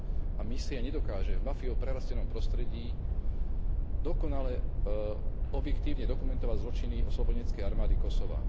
a misia nedokáže v mafiou prerastenom prostredí dokonale objektívne dokumentovať zločiny oslobodeneckej armády Kosova.